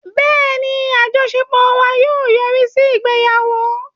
Bẹ́ẹ̀ni, àjọṣepọ̀ wa yóò yọrí sí ìgbéyàwó